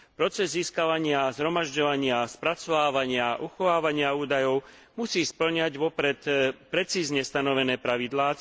Proces získavania, zhromažďovania, spracovávania, uchovávania údajov musí spĺňať vopred precízne stanovené pravidlá.